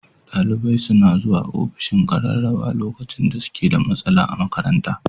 Dalibai suna zuwa ofishin ƙararrawa lokacin da suke da matsala a makaranta.